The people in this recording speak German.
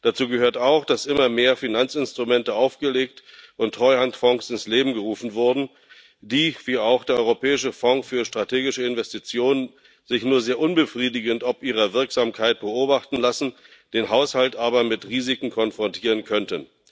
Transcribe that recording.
Dazu gehört auch, dass immer mehr Finanzinstrumente aufgelegt und Treuhandfonds ins Leben gerufen wurden, die sich wie auch der Europäische Fonds für strategische Investitionen nur sehr unbefriedigend ob ihrer Wirksamkeit beobachten lassen, den Haushalt aber mit Risiken konfrontieren könnten.